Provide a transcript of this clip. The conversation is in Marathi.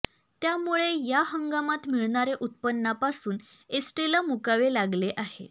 त्यामुळे या हंगामात मिळणाऱ्या उत्पन्नापासून एसटीला मुकावे लागले आहे